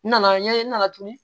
N nana ɲɛ na tuguni